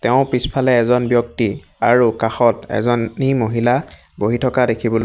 তেওঁৰ পিছফালে এজন ব্যক্তি আৰু কাষত এজনী মহিলা বহি থকা দেখিবলৈ --